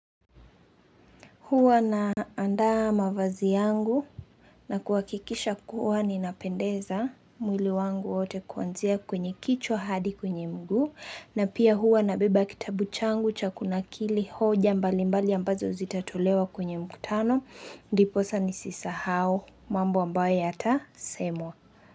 Huwa naandaa mavazi yangu na kuhakikisha kuwa ninapendeza mwili wangu wote kuanzia kwenye kichwa hadi kwenye mguu na pia huwa nabeba kitabu changu cha kunakili hoja mbalimbali ambazo zitatolewa kwenye mkutano. Ndiposa nisisahau. Mambo ambayo yatasemwa.